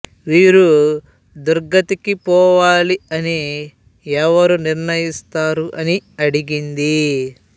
వీరు దుర్గతికి పోవాలి అని ఎవరు నిర్ణయిస్తారు అని అడిగింది